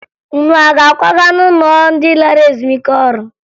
Unu a ga-akwaga n'ụlọ ndị lara ezumike ọrụ?